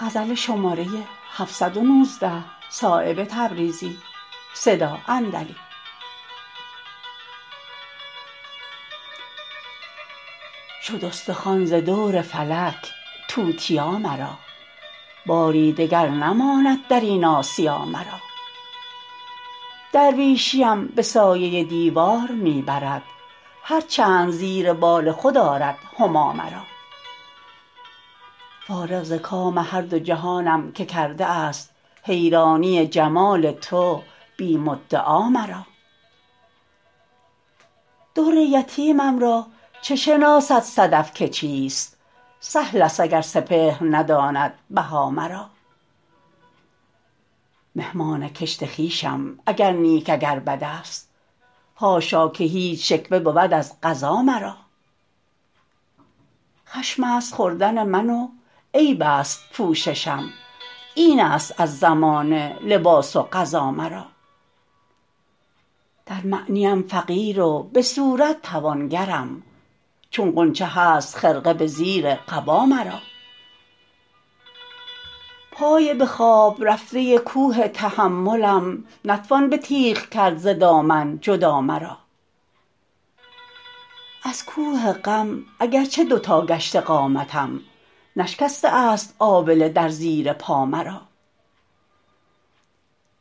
شد استخوان ز دور فلک توتیا مرا باری دگر نماند درین آسیا مرا درویشیم به سایه دیوار می برد هر چند زیر بال خود آرد هما مرا فارغ ز کام هر دو جهانم که کرده است حیرانی جمال تو بی مدعا مرا در یتیم را چه شناسد صدف که چیست سهل است اگر سپهر نداند بها مرا مهمان کشت خویشم اگر نیک اگر بد است حاشا که هیچ شکوه بود از قضا مرا خشم است خوردن من و عیب است پوششم این است از زمانه لباس و غذا مرا در معنیم فقیر و به صورت توانگرم چون غنچه هست خرقه به زیر قبا مرا پای به خواب رفته کوه تحملم نتوان به تیغ کرد ز دامن جدا مرا از کوه غم اگر چه دو تا گشته قامتم نشکسته است آبله در زیر پا مرا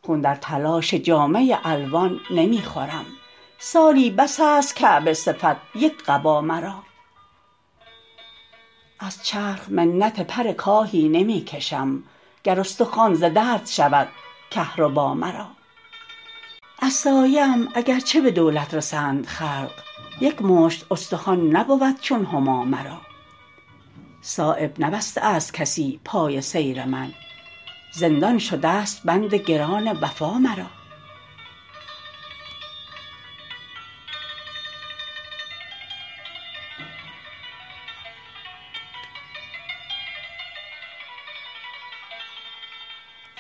خون در تلاش جامه الوان نمی خورم سالی بس است کعبه صفت یک قبا مرا از چرخ منت پر کاهی نمی کشم گر استخوان ز درد شود کهربا مرا از سایه ام اگر چه به دولت رسند خلق یک مشت استخوان نبود چون هما مرا صایب نبسته است کسی پای سیر من زندان شده است بند گران وفا مرا